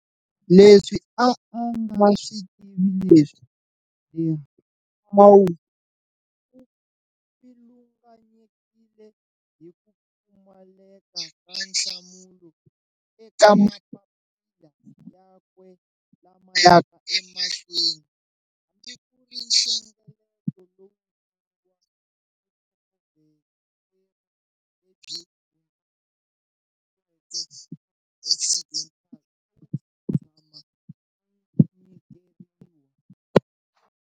Leswi a a nga swi tivi leswi, de Wahl u pfilunganyekile hi ku pfumaleka ka nhlamulo eka mapapila yakwe lama yaka emahlweni, hambi ku ri nhlengeleto lowukulu wa vutlhokovetseri lebyi hundzuluxeriweke eka Occidental a wu si tshama wu nyikeriwa.